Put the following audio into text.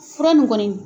Fura nin kɔni